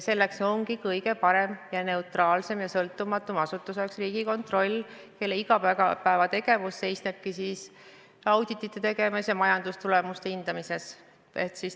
Selleks on kõige parem, kõige neutraalsem ja sõltumatum asutus Riigikontroll, kelle igapäevategevus seisnebki auditite tegemises, majandustulemuste hindamises.